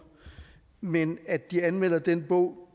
men at de anmelder den bog